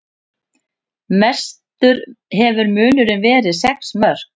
Mestur hefur munurinn verið sex mörk